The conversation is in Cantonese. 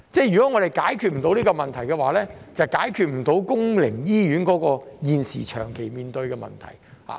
如果我們解決不到這個問題，就解決不到公營醫院現時長期面對的問題。